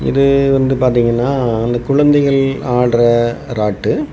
இது வந்து பாத்தீங்கன்னா அந்த குழந்தைகள் ஆடுற ராட்டு.